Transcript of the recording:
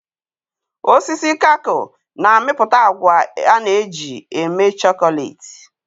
osisi cacao na-amịpụta agwa a na-eji eme chocolate.